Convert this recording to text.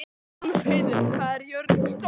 Úlfheiður, hvað er jörðin stór?